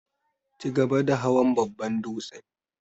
chigaba da hawan babban dūtse.